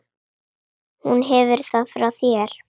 Hún hefur það frá þér.